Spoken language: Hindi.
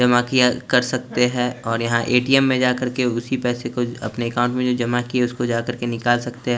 एमा कि आल कर सकते है और यहाँ ए_टी_एम में जा कर के उसी पैसे को आपने एकांत में जमा किए उसको जाकर के निकाल सकते है।